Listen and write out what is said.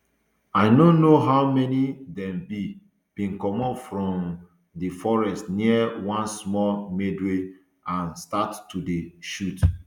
i no know how many dem be bin comot from um di forest near one small meadow and start to dey shoot